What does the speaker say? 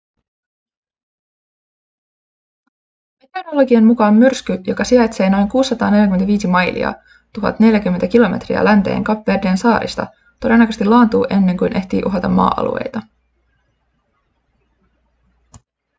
meteorologien mukaan myrsky joka sijaitsee noin 645 mailia 1 040 km länteen kap verden saarista todennäköisesti laantuu ennen kuin ehtii uhata maa-alueita